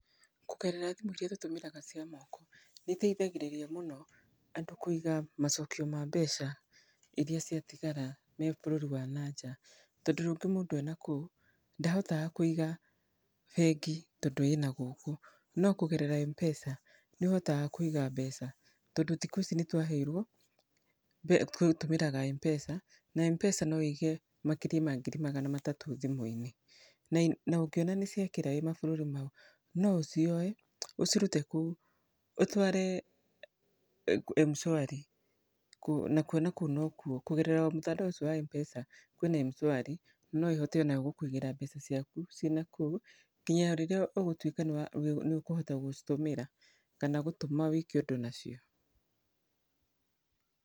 Kũgerera thimũ irĩa tũtũmĩraga cia moko, nĩ itethagĩrĩria mũno andũ kũiga macokio ma mbeca, irĩa ciatigara me bũrũri wa nanja, tondũ rĩngĩ mũndũ enakũu, ndahotaga kwĩiga bengi tondũ ina gũkũ, no kũgerera M-pesa nĩohotaga kuĩiga mbeca, tondũ thikũ ici nĩ twaheirwo mbe gũtũmagĩra M-pesa, na M-pesa no wĩige makĩria ma ngiri magana matatũ thimũ-inĩ, na nongĩona nĩ ciakĩra wĩ mabũrũri mau, no ũcioe, ũcirute kũu, ũtware Mshwari, nakuo nakũu nokwo kũgerera mtandao ũcio wa M-pesa kwĩ na Mshwari, no ĩhote onayo gũkũigĩra mbeca ciaku, cĩna kũu, nginya rĩrĩa ũgũtuĩka nĩũkũhota gũcitũmĩra, kana gũtũma wĩke ũndũ nacio.